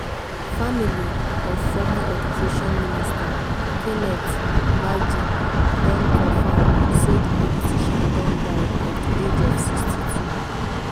family of former education minister kenneth gbagi don comfam say di politician don die at di age of 62.